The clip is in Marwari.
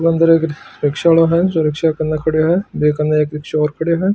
रिक्शा आलो है जो रिक्शा के कने खड्यो है बी कने एक रिकस्यो और खड्यो है।